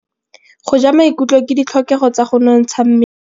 Go ja maungo ke ditlhokegô tsa go nontsha mmele.